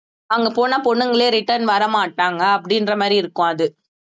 அங்க போனா பொண்ணுங்களே return வரமாட்டாங்க அப்படின்ற மாதிரி இருக்கும் அது